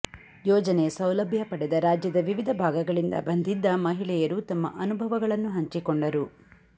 ಯೋಜನೆಯ ಸೌಲಭ್ಯ ಪಡೆದ ರಾಜ್ಯದ ವಿವಿಧ ಭಾಗಗಳಿಂದ ಬಂದಿದ್ದ ಮಹಿಳೆಯರು ತಮ್ಮ ಅನುಭವಗಳನ್ನು ಹಂಚಿಕೊಂಡರು